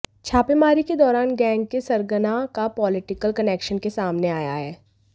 छापेमारी के दौरान गैंग के सरगना का पॉलिटिकल कनेक्शन के सामने आया है